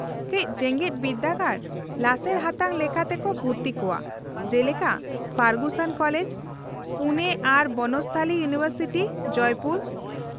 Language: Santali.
-ᱠᱟᱹᱪ ᱡᱮᱜᱮᱫ ᱵᱤᱨᱫᱟᱹᱜᱟᱲ ᱞᱟᱥᱮᱨ ᱦᱟᱛᱟᱝ ᱞᱮᱠᱟᱛᱮ ᱠᱚ ᱵᱷᱩᱨᱛᱤ ᱠᱚᱣᱟ , ᱡᱮᱞᱮᱠᱟ ᱯᱷᱟᱨᱜᱩᱥᱚᱱ ᱠᱳᱞᱮᱡ, ᱯᱩᱱᱮ ᱟᱨ ᱵᱚᱱᱚᱥᱛᱷᱟᱞᱤ ᱤᱭᱩᱱᱤᱵᱷᱟᱨᱥᱤᱴᱤ, ᱡᱚᱭᱯᱩᱨ ᱾